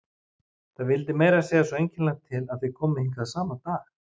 Það vildi meira að segja svo einkennilega til að þið komuð hingað sama dag.